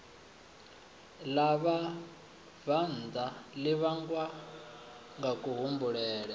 ḽa vhabvannḓa ḽi vhangwa ngakuhumbulele